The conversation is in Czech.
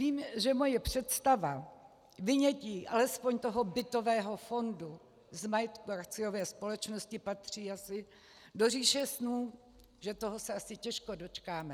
Vím, že moje představa vynětí alespoň toho bytového fondu z majetku akciové společnosti patří asi do říše snů, že toho se asi těžko dočkáme.